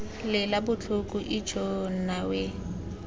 lela botlhoko ijoo nna we